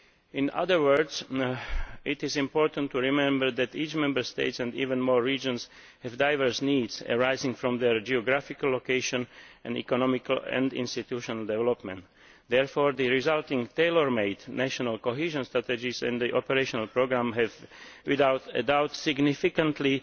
In other words, it is important to remember that each Member State, and even more so the regions, have diverse needs arising from their geographical location and economic and institutional development. Therefore, the resulting tailor made national cohesion strategies in the operational programme undoubtedly vary significantly